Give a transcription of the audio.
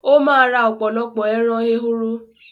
Ó ma ra ọ̀pọ̀lọpọ̀ “ẹran ehoro”.